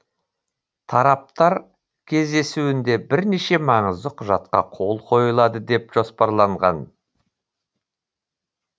тараптар кездесуінде бірнеше маңызды құжатқа қол қойылады деп жоспарланған